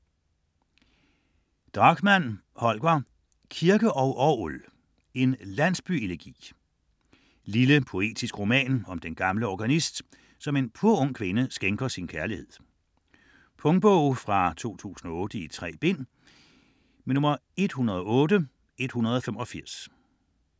Drachmann, Holger: Kirke og orgel: En Landsby-elegi Lille poetisk roman om den gamle organist, som en purung kvinde skænker sin kærlighed. Punktbog 108185 2008. 3 bind.